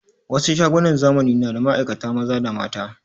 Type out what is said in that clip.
Wasu shagunan zamani na da ma'aikata maza da mata